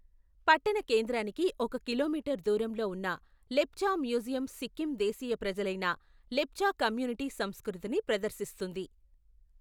పట్టణ కేంద్రానికి ఒక కిలోమీటరు దూరంలో ఉన్న లెప్చా మ్యూజియం సిక్కిం దేశీయ ప్రజలైన లెప్చా కమ్యూనిటీ సంస్కృతిని ప్రదర్శిస్తుంది.